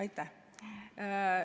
Aitäh!